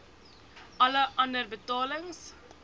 alle ander betalings